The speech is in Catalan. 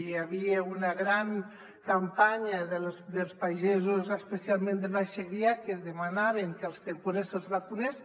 hi havia una gran campanya dels pagesos especialment del baix segrià que demanaven que als temporers se’ls vacunés